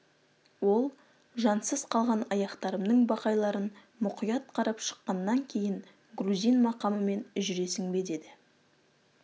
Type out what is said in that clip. ол жансыз қалған аяқтарымның бақайларын мұқият қарап шыққаннан кейін грузин мақамымен жүресің бе деді